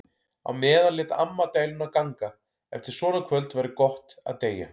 Á meðan lét amma dæluna ganga: Eftir svona kvöld væri gott að deyja.